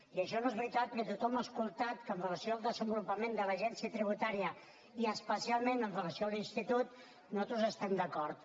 i això no és veritat que tothom ha escoltat que amb relació al desenvolupament de l’agència tributària i especialment amb relació a l’institut nosaltres hi estem d’acord